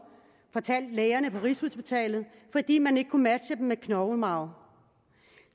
fortalte lægerne på rigshospitalet fordi man ikke kunne matche dem med knoglemarv